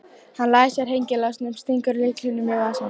Hann læsir hengilásnum og stingur lyklinum í vasann.